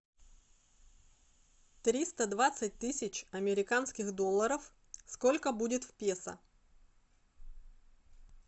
триста двадцать тысяч американских долларов сколько будет в песо